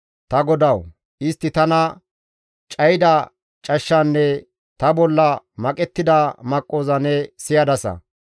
Ta GODAWU! Istti tana cayida cashshanne ta bolla maqettida maqqoza ne siyadasa.